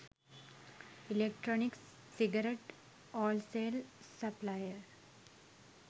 electronic cigarette wholesale supplier